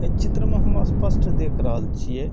अइ चित्र में हम स्पष्ट देख रहल छिय।